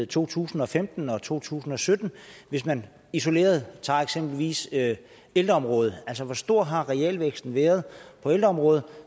to tusind og femten og to tusind og sytten hvis man isoleret tager eksempelvis ældreområdet altså hvor stor har realvæksten været på ældreområdet